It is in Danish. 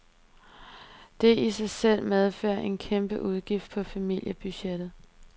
Det i sig selv medfører en kæmpe udgift på familiebudgettet.